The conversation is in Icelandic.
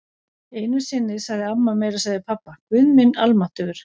Einu sinni sagði amma meira að segja við pabba: Guð minn almáttugur.